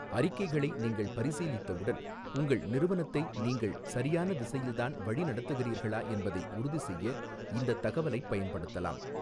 அறிக்கைகளை நீங்கள் பரிசீலித்தவுடன், உங்கள் நிறுவனத்தை நீங்கள் சரியான திசையில்தான் வழிநடத்துகிறீர்களா என்பதை உறுதிசெய்ய இந்தத் தகவலைப் பயன்படுத்தலாம்.